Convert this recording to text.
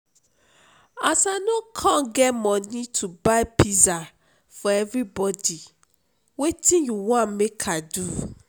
as i no come get money to buy pizza for everybody wetin you wan make i do?